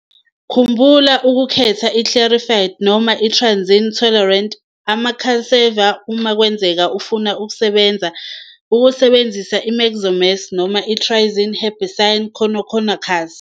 Khumbula ukukhetha i-Clearfied noma i-triazine tolerant ama-cultivar uma kwenzeka ufuna ukusebenzisa i-imazamox noma i-triazine herbicide kukhanola.